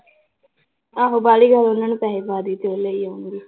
ਆਹੋ ਬਾਹਲੀ ਗੱਲ ਉਹਨਾਂ ਨੂੰ ਪੈਸੇ ਪਾ ਦੇਈਂ ਤੇ ਉਹ ਲੈ ਆਉਣਗੇ